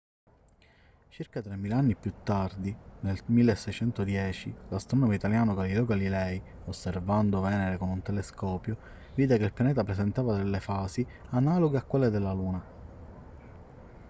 circa tremila anni più tardi nel 1610 l'astronomo italiano galileo galilei osservando venere con un telescopio vide che il pianeta presentava delle fasi analoghe a quelle della luna